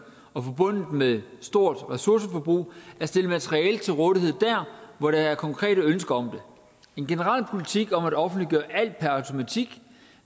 og forbundet med et stort ressourceforbrug at stille materiale til rådighed der hvor der er konkrete ønsker om en generel politik om at offentliggøre alt per automatik